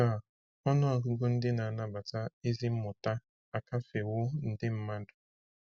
Taa, ọnụ ọgụgụ ndị na-anabata ezi mmụta akafewo nde mmadụ.